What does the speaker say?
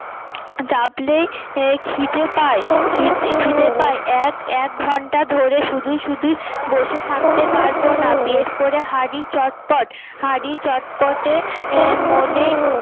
খিদে পায় খিদে পায় এক এক ঘন্টা ধরে শুধু শুধুই বসে থাকতে পারব না বের করে হাড়ি চটপট হাড়ি চটপটে আহ মনে